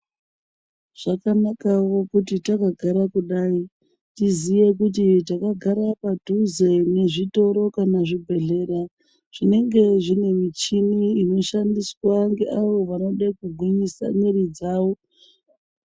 Zvakanakawo kuti takagara kudai tiziye kuti takagara padhuze nezvitoro kana zvibhedhlera zvinenge zvine michini inoshandiswa ngeawo vanode kugwinyisa mwiri dzawo.